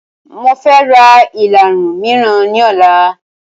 Mofẹ ra ìlarun miran ni ọ̀la